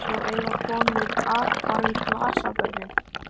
Svo eiga konur athvarf í glasabörnum.